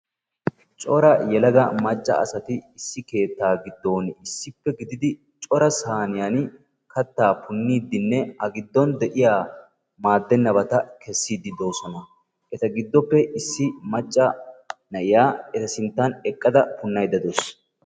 Cora yelaga macca asati issi keettaa giddon issippe gididi cora sayniyaan kattaa punniidinne a giddon de'iyaa maadennabata kessiidi de'oosona. eta gidoppe issi macca na'iyaa eta giddon eqqada punnaydda de'awus.